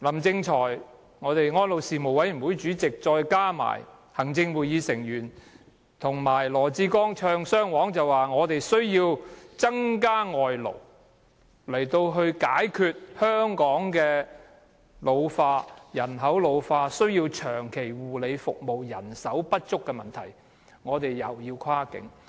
政府、安老事務委員會主席林正財、行政會議成員加上羅致光"唱雙簧"，說我們需要增加輸入外勞來解決香港人口老化問題，解決護理人手長期不足的問題，又要跨境。